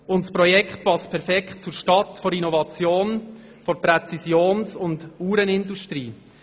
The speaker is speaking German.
Das Projekt passt perfekt zur Stadt der Innovation und Präzision der Uhrenindustrie.